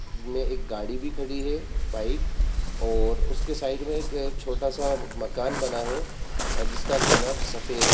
इनमें एक गाड़ी भी खड़ी है बाइक और उसके साइड में एक छोटा सा मकान बना है। जिसका कलर सफ़ेद --